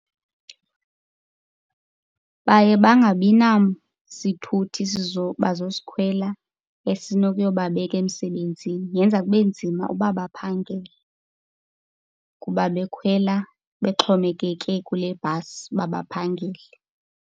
Baye bangabinasithuthi bazosikhwela esinokuyobabeka emsebenzini. Yenza kube nzima uba baphangele kuba bekhwela bexhomekeke kule bhasi uba baphangele.